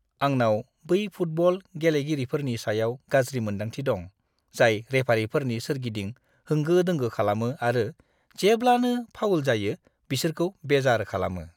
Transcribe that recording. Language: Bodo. आंनाव बै फुटबल गेलेगिरिफोरनि सायाव गाज्रि मोन्दांथि दं, जाय रेफारिफोरनि सोरगिदिं होंगो-दोंगो खालामो आरो जेब्लानो फाउल जायो, बिसोरखौ बेजार खालामो।